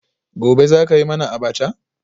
Gobe ​​zaka yi mana abacha?